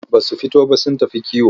Ba su fito ba sun tafi kiwo.